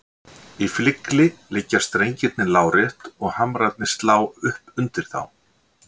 Í flygli liggja strengirnir lárétt og hamrarnir slá upp undir þá.